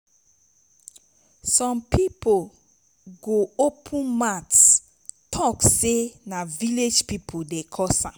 som pipo go open mouth tok sey na village pipo dey cause am